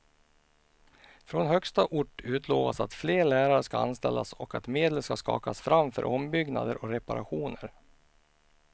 Från högsta ort utlovas att fler lärare ska anställas och att medel ska skakas fram för ombyggnader och reparationer.